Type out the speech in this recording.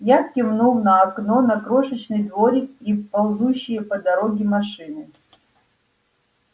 я кивнул на окно на крошечный дворик и ползущие по дороге машины